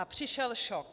A přišel šok.